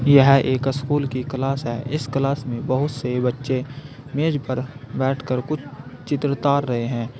यह एक स्कूल की क्लास है इस क्लास में बहुत से बच्चे मेज पर बैठकर कुछ चित्र उतार रहे हैं।